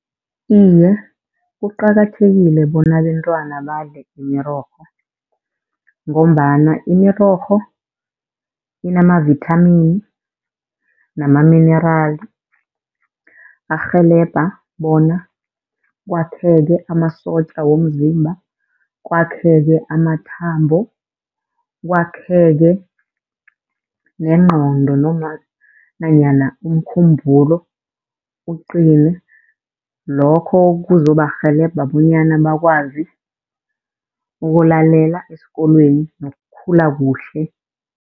Iye, kuqakathekile bona abentwana badle imirorho, ngombana imirorho inamavithamini namaminerali arhelebha bona kwakheke amasotja womzimba, kwakheke amathambo, kwakheke nengqondo noma nanyana umkhumbulo uqine. Lokho kuzobarhelebha bonyana bakwazi ukulalela esikolweni nokukhula kuhle.